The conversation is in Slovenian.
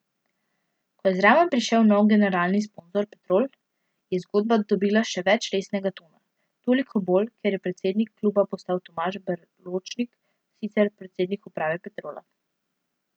Ko je zraven prišel nov generalni sponzor Petrol, je zgodba dobila še več resnega tona, toliko bolj, ker je predsednik kluba postal Tomaž Berločnik, sicer predsednik uprave Petrola.